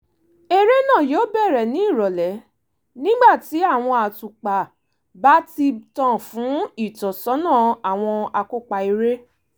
eré náà yóò bẹ̀rẹ̀ ní ìrọ̀lẹ́ nígbà tí àwọn àtùpà báti tàn fún ìtọ́sọ́nà àwọn akópa eré